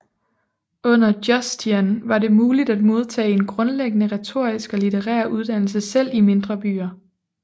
Under Justinian var det muligt at modtage en grundlæggende retorisk og litterær uddannelse selv i mindre byer